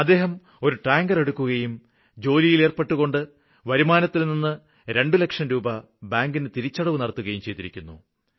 അദ്ദേഹം ഒരു ടാങ്കര് എടുക്കുകയും ജോലിയില് ഏര്പ്പെട്ടുകൊണ്ട് വരുമാനത്തില്നിന്ന് രണ്ടു ലക്ഷം രൂപ ബാങ്കിന് തിരിച്ചടവ് നടത്തുകയും ചെയ്തിരിക്കുന്നു